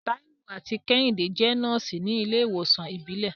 Taiwo àti Kehinde jẹ́ nọ́ọ̀sì ní ilé ìwòsàn ìbílẹ̀.